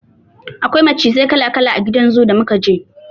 Akwai macizai kala-kala a gidan zoo da muka je.